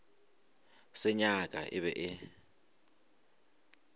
se nyaka e be e